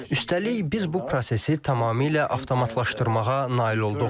Üstəlik, biz bu prosesi tamamilə avtomatlaşdırmağa nail olduq.